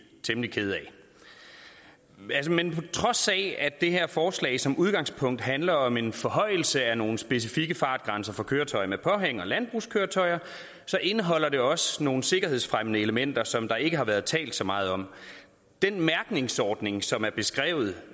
temmelig kede af men på trods af at det her forslag som udgangspunkt handler om en forhøjelse af nogle specifikke fartgrænser for køretøjer med påhæng og landbrugskøretøjer indeholder det også nogle sikkerhedsfremmende elementer som der ikke har været talt så meget om den mærkningsordning som er beskrevet